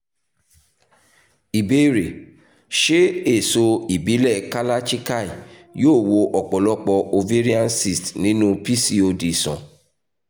ìbéèrè: ṣé èso ìbílẹ̀ kalarchikai yóò wo ọ̀pọ̀lọpọ̀ ovarian cysts nínú pcod sàn?